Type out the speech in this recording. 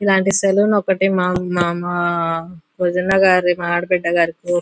ఇలాంటి సలోన్ ఒకటి మాం మా వదిన గారి మా ఆడబిడ్డ గారి--